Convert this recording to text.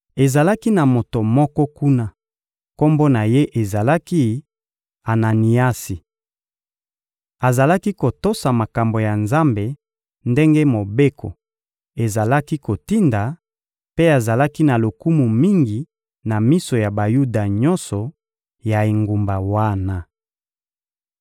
Ezalaki na moto moko kuna, kombo na ye ezalaki «Ananiasi.» Azalaki kotosa makambo ya Nzambe ndenge Mobeko ezalaki kotinda, mpe azalaki na lokumu mingi na miso ya Bayuda nyonso ya engumba wana.